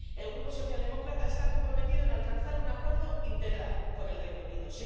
El Grupo socialdemócrata se ha comprometido a alcanzar un acuerdo integral con el Reino Unido.